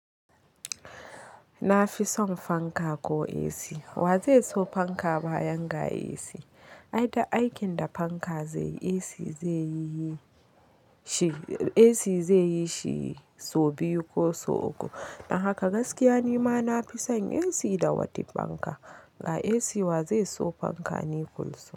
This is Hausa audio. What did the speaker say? Nafison fanka ko AC wa zai so fanka bayan ga AC. Ai duk aikin da fanka zai yi AC zai yi AC zai yi shi sau biyu ko sau uku. Dan haka gaskiya ni ma nafison AC da wata fanka ga AC wa zai so fanka ni kulsum.